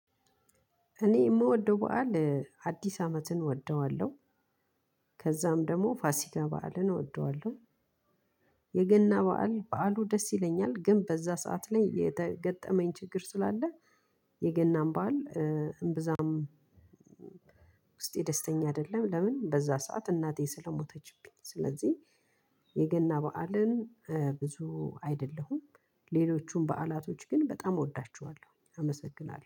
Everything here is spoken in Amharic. እኔ ምወደው በዓል አዲስ አመትን እወደዋለሁ። ከዛም ደግሞ ፋሲካ በዓልን እወደዋለሁ። የገና በዓል በዓሉ ደስ ይለኛል ግን በዛ ሰዓት ላይ የገጠመኝ ችግር ስላለ። የገናን በዓል እምብዛም ውስጤ ደስተኛ አይደለም። ለምን? በዛ ሰዓት እናቴ ስለሞተችብኝ ስለዚህ የገና በዓልን ብዙ አይደለሁም። ሌሎቹም በዓላቶች ግን በጣም እወዳቸዋለሁ አመሰግናለሁ